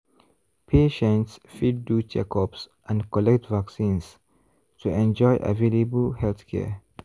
patients fit do checkups and collect vaccines to enjoy available healthcare.